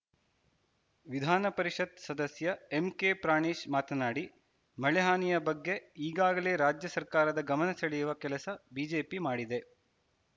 ವಿಧಾನ ಪರಿಷತ್‌ ಸದಸ್ಯ ಎಂಕೆಪ್ರಾಣೇಶ್‌ ಮಾತನಾಡಿ ಮಳೆಹಾನಿಯ ಬಗ್ಗೆ ಈಗಾಗಲೇ ರಾಜ್ಯ ಸರ್ಕಾರದ ಗಮನ ಸೆಳೆಯುವ ಕೆಲಸ ಬಿಜೆಪಿ ಮಾಡಿದೆ